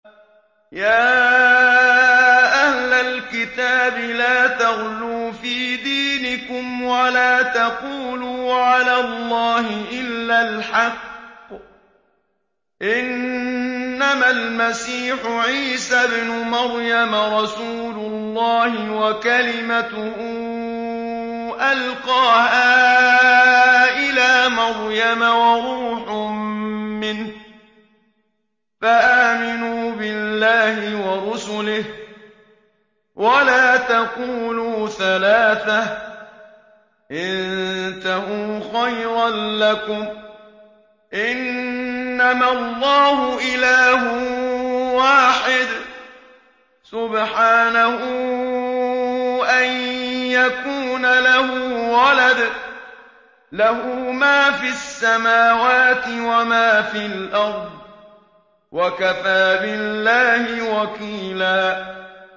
يَا أَهْلَ الْكِتَابِ لَا تَغْلُوا فِي دِينِكُمْ وَلَا تَقُولُوا عَلَى اللَّهِ إِلَّا الْحَقَّ ۚ إِنَّمَا الْمَسِيحُ عِيسَى ابْنُ مَرْيَمَ رَسُولُ اللَّهِ وَكَلِمَتُهُ أَلْقَاهَا إِلَىٰ مَرْيَمَ وَرُوحٌ مِّنْهُ ۖ فَآمِنُوا بِاللَّهِ وَرُسُلِهِ ۖ وَلَا تَقُولُوا ثَلَاثَةٌ ۚ انتَهُوا خَيْرًا لَّكُمْ ۚ إِنَّمَا اللَّهُ إِلَٰهٌ وَاحِدٌ ۖ سُبْحَانَهُ أَن يَكُونَ لَهُ وَلَدٌ ۘ لَّهُ مَا فِي السَّمَاوَاتِ وَمَا فِي الْأَرْضِ ۗ وَكَفَىٰ بِاللَّهِ وَكِيلًا